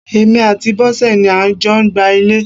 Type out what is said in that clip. Èmi àti Bosẹ̀ ni a jọ gbá ilẹ̀.